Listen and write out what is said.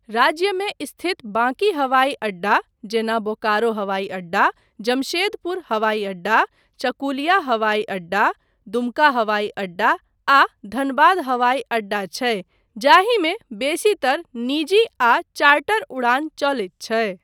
राज्यमे स्थित बाकी हवाई अड्डा जेना बोकारो हवाई अड्डा, जमशेदपुर हवाई अड्डा, चकुलिया हवाई अड्डा, दुमका हवाई अड्डा, आ धनबाद हवाई अड्डा छै जाहिमे बेसीतर निजी आ चार्टर उड़ान चलैत छै।